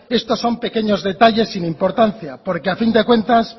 estos son pequeños detalles sin importancia porque a fin de cuentas